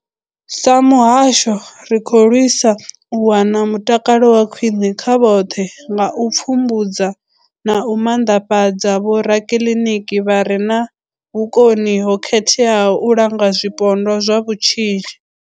Sa muhasho, ri khou lwisa u wana mutakalo wa khwine kha vhoṱhe nga u pfumbudza na u maanḓafhadza vhorakiḽiniki vha re na vhukoni ho khetheaho u langa zwipondwa zwa vhutshinyi.